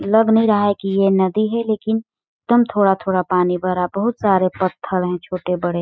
लग नहीं रहा है कि यह नदी है लेकिन कम थोड़ा -थोड़ा पानी भरा बहुत सारे पत्थर है छोटे बड़े।